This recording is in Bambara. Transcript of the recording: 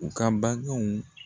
U ka bangew